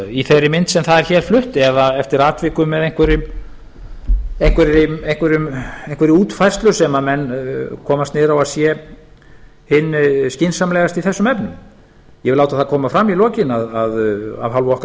í þeirri mynd sem það er hér flutt ef eftir atvikum eða einhverri útfærslu sem menn komast niður á að sé hinn skynsamlegasta í þessum efnum ég vil láta það koma fram í lokin að af hálfu okkar